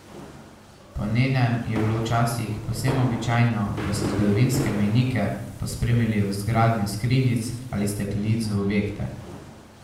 Po njenem je bilo včasih povsem običajno, da so zgodovinske mejnike pospremili z vgradnjo skrinjic ali steklenic v objekte.